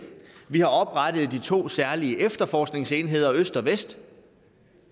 vi har oprettet de to særlige efterforskningsenheder øst og vest og